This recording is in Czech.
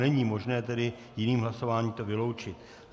Není možné tedy jiným hlasováním to vyloučit.